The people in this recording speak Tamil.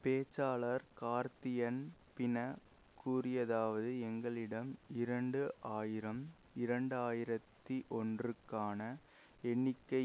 பேச்சாளர் கார்தியன் பின கூறியதாவது எங்களிடம் இரண்டு ஆயிரம் இரண்டு ஆயிரத்தி ஒன்று ற்கான எண்ணிக்கை